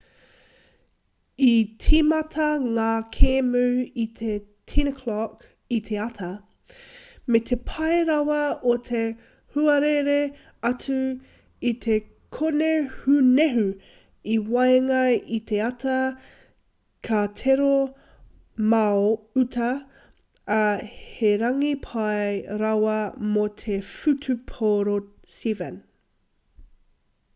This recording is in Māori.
i tīmata ngā kēmu i te 10:00 i te ata me te pai rawa o te huarere atu i te kōnehunehu i waenga i te ata ka tere mao atu ā he rangi pai rawa mō te whutupōro 7